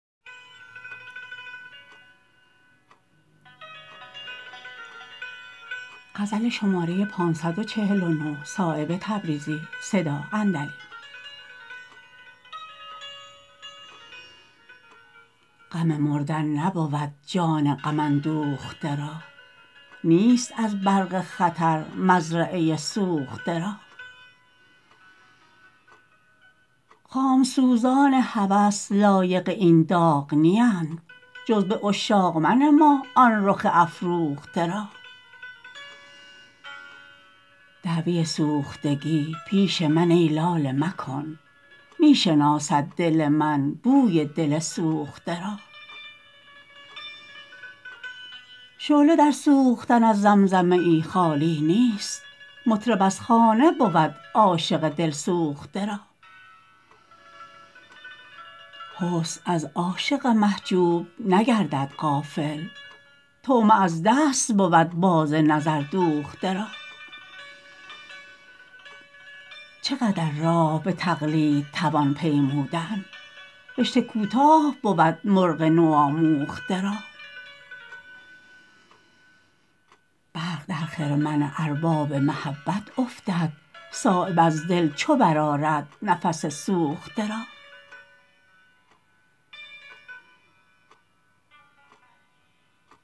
غم مردن نبود جان غم اندوخته را نیست از برق خطر مزرعه سوخته را خامسوزان هوس لایق این داغ نیند جز به عاشق منما آن رخ افروخته را دعوی سوختگی پیش من ای لاله مکن می شناسد دل من بوی دل سوخته را شعله در سوختن از زمزمه ای خالی نیست مطرب از خانه بود عاشق دلسوخته را حسن از عاشق محجوب نگردد غافل طعمه از دست بود باز نظر دوخته را چه قدر راه به تقلید توان پیمودن رشته کوتاه بود مرغ نوآموخته را برق در خرمن ارباب محبت افتد صایب از دل چو برآرد نفس سوخته را